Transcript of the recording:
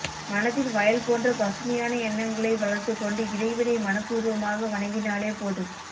மனதில் வயல் போன்ற பசுமையான எண்ணங்களை வளர்த்துக்கொண்டு இறைவனை மனப்பூர்வமாக வணங்கினாலே போதும்